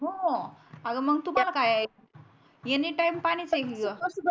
हो त्यात काय एनी टाइम पाणीच आहे की ग